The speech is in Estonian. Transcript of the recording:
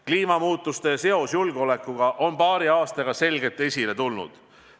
Kliimamuutuste seos julgeolekuga on paari aastaga selgelt esile tulnud.